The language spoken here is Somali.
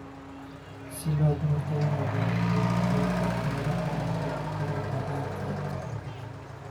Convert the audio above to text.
Si looga hortago nabaad-guurka ciidda meelaha ay ka jirto roob la'aanta.